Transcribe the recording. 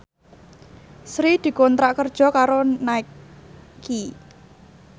Sri dikontrak kerja karo Nike